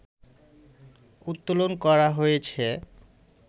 উত্তোলন করা হয়েছে